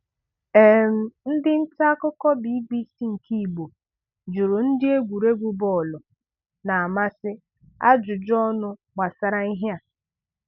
um Ndị nta akụkọ BBC nke Igbo jụrụ ndị egwuregwu bọọlụ na-amasị ajụjụ ọnụ gbasara ihe a.